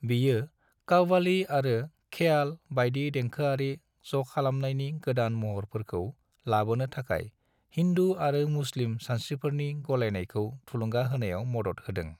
बियो कव्वाली आरो ख्याल बायदि देंखोआरि ज'खालामनायनि गोदान महरफोरखौ लाबोनो थाखाय हिन्दु आरो मुस्लिम सानस्रिफोरनि गलायनायखौ थुलुंगा होनायाव मदद होदों।